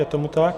Je tomu tak?